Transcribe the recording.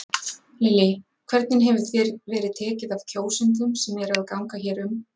Lillý: Hvernig hefur þér verið tekið af kjósendum sem eru að ganga hér um?